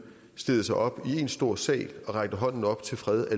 stillede sig op i en stor sal og en hånden op til fred